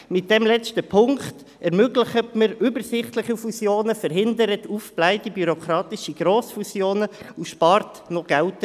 Mit dieser Ziffer ermöglicht man übersichtliche Fusionen, verhindert aufgeblähte bürokratische Fusionen und spart dann auch noch Geld.